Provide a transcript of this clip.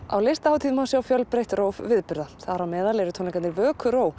á Listahátíð má sjá fjölbreytt róf viðburða þar á meðal eru tónleikarnir